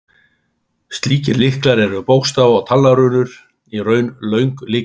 Slíkir lyklar eru bókstafa- eða talnarunur, í raun löng lykilorð.